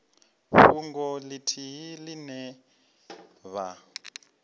fhungo ithihi ine vha o